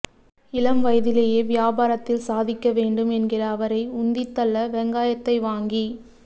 இளம் வயதிலேயே வியாபாரத்தில் சாதிக்க வேண்டும் என்கிற அவரை உந்தித்தள்ள வெங்காயத்தை வாங்கி